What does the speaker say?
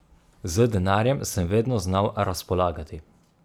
Z denarjem sem vedno znal razpolagati.